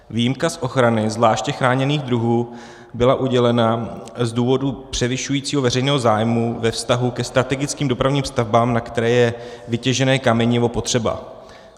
Výjimka z ochrany zvláště chráněných druhů byla udělena z důvodu převyšujícího veřejného zájmu ve vztahu ke strategickým dopravním stavbám, na které je vytěžené kamenivo potřeba.